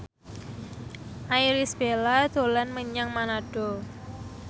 Irish Bella dolan menyang Manado